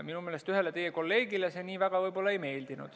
Minu meelest ühele teie kolleegile see nii väga ei meeldinud.